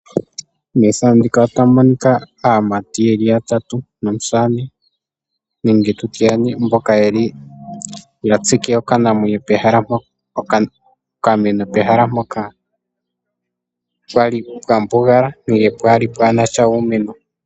Methano ndika otamu monika aamati yeli yatatu nomusamane nenge tutye yane mboka yeli ya tsike okameno pehala mpoka pwali pwambugala nenge pwali pwaanasha uumeno.